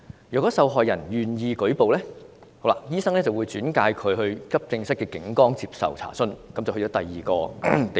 若受害人願意舉報，醫生才會轉介到急症室的警崗接受查詢，這便轉到第二個地方。